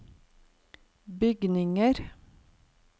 bygninger